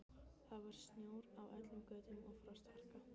Það var snjór á öllum götum og frostharka.